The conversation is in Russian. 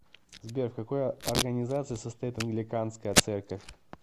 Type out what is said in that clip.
сбер в какой организации состоит англиканская церковь